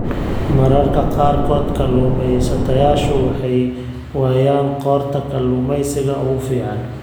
Mararka qaarkood, kalluumaystayaashu waxay waayaan qoorta kalluumeysiga ugu fiican.